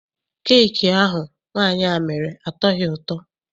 Keeki ahụ nwaanyị a mere atọghi ụtọ.